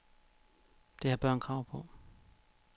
Det har børn krav på.